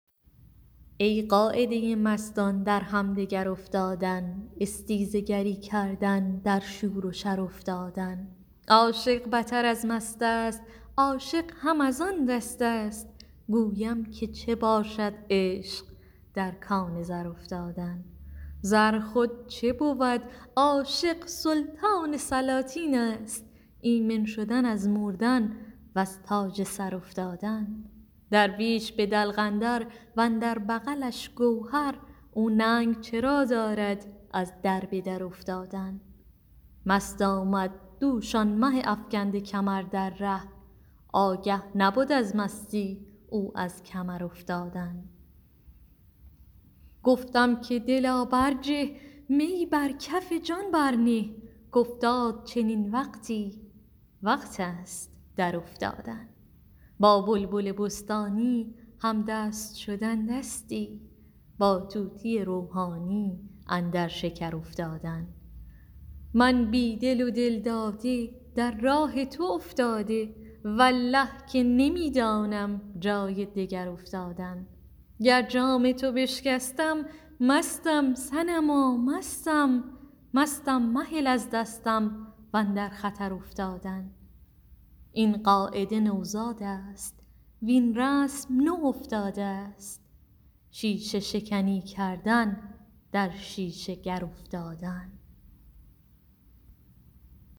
ای قاعده مستان در همدگر افتادن استیزه گری کردن در شور و شر افتادن عاشق بتر از مست است عاشق هم از آن دست است گویم که چه باشد عشق در کان زر افتادن زر خود چه بود عاشق سلطان سلاطین است ایمن شدن از مردن وز تاج سر افتادن درویش به دلق اندر و اندر بغلش گوهر او ننگ چرا دارد از در به در افتادن مست آمد دوش آن مه افکنده کمر در ره آگه نبد از مستی او از کمر افتادن گفتم که دلا برجه می بر کف جان برنه کافتاد چنین وقتی وقت است درافتادن با بلبل بستانی همدست شدن دستی با طوطی روحانی اندر شکر افتادن من بی دل و دل داده در راه تو افتاده والله که نمی دانم جای دگر افتادن گر جام تو بشکستم مستم صنما مستم مستم مهل از دستم و اندر خطر افتادن این قاعده نوزاد است وین رسم نو افتاده ست شیشه شکنی کردن در شیشه گر افتادن